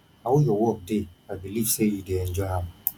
how your work dey i believe say you dey enjoy am